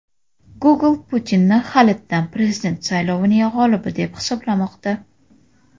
Google Putinni halitdan prezident saylovining g‘olibi deb hisoblamoqda.